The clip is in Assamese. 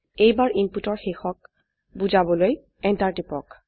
এইবাৰ ইনপুটৰ শেষক বোজাবলৈ এন্টাৰ টিপক